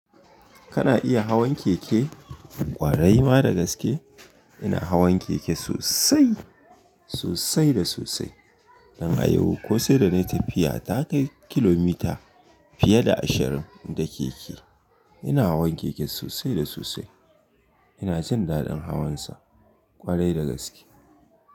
Kana iya hawan keke? Kwarai ma da gaske ina hawan keke sosai, sosai da sosai. Dan a yau ko sai da na yi tafiya ta kai kilomita fiye da ashirin da keke. Ina hawan keke sosai da sosai. Ina jin daɗin hawansa ƙwarai da gaske.